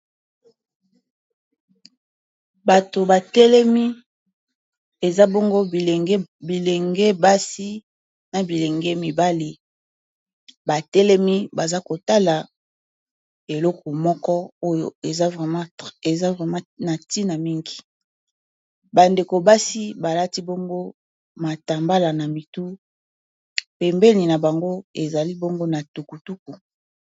Bato batelemi eza bongo bilenge basi na bilenge mibale, batelemi baza kotala eloko moko oyo eza vrema na ntina mingi bandeko basi balati bongo matambala na mitu pembeni na bango ezali bongo na tukutuku.